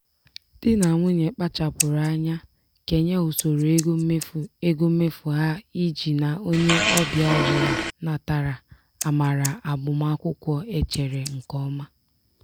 di na nwunye kpachapụrụ anya kenye usoro ego mmefu ego mmefu ha iji na onye ọbịa ọbụla natara amara agbamakwụkwọ e chere nke ọma.